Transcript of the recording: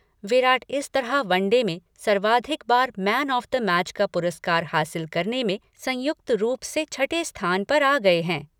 विराट इस तरह वनडे में सर्वाधिक बार मैन ऑफ द मैच का पुरस्कार हासिल करने में संयुक्त रूप से छठे स्थान पर आ गए है।